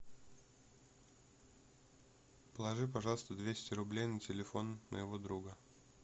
положи пожалуйста двести рублей на телефон моего друга